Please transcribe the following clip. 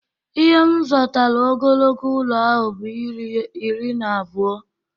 Ihe m zotara ogologo ụlọ ahụ bụ iri na abụọ